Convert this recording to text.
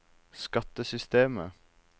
skattesystemet